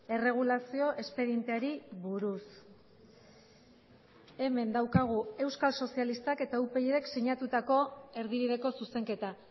erregulazio espedienteari buruz hemen daukagu euskal sozialistak eta upydk sinatutako erdibideko zuzenketa